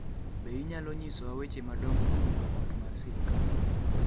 Be inyalo nyisowa weche madongo ma mulo ot mar sirkal